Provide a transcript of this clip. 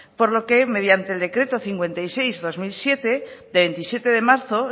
por lo que mediante el decreto cincuenta y seis barra dos mil siete de veintisiete de marzo